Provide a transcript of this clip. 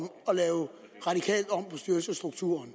på styrelsesstrukturen